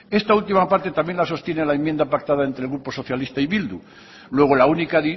esta última parte también la sostiene la enmienda pactada entre el grupo socialista y bildu luego la única